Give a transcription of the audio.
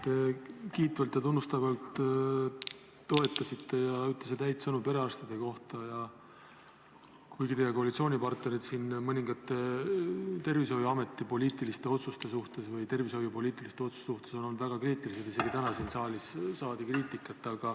Te toetasite kiitvalt ja tunnustavalt ning ütlesite häid sõnu perearstide kohta, kuigi teie koalitsioonipartnerid on olnud mõningate tervishoiupoliitiliste otsuste suhtes väga kriitilised, isegi täna siin saalis on olnud kuulda kriitikat.